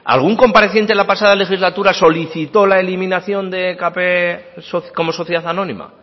algún compareciente en la pasada legislatura solicitó la eliminación de ekp como sociedad anónima